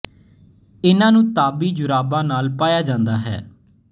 ਇੰਨਾ ਨੂੰ ਤਾਬੀ ਜੁਰਾਬਾਂ ਨਾਲ ਪਾਇਆ ਜਾਂਦਾ ਹੈ